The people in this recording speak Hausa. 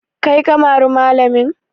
Kai ka mari malamin?